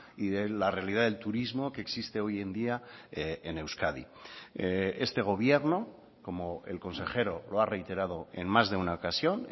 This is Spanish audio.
y de la realidad del turismo que existe hoy en día en euskadi este gobierno como el consejero lo ha reiterado en más de una ocasión